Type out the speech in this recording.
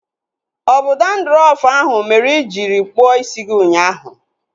Ọ bụ dandrọfu ahụ mere i jiri kpụọ isi gị ụnyaahụ?